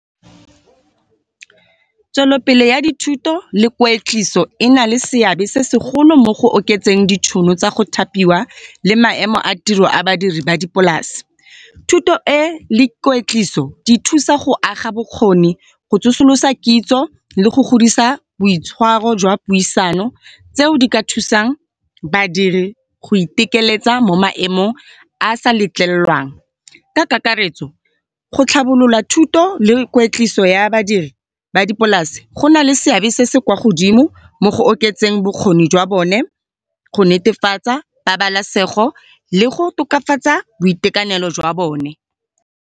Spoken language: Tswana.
Tswelelopele ya dithuto le kweetliso e nale seabe se segolo mo go oketseng ditšhono tsa go thapiwa le maemo a ditiro a badiri ba dipolasi. Thuto e le kweetliso di thusa go aga bokgoni, go tsosolosa kitso le go godisa boitshwaro jwa puisano tseo di ka thusang badiri go itekeletsa mo maemong a a sa letlelelwang. Ka kakaretso go tlhabolola thuto le kweetliso ya badiri ba dipolase go na le seabe se se kwa godimo mo go oketseng bokgoni jwa bone, go netefatsa pabalesego le go tokafatsa boitekanelo jwa bone.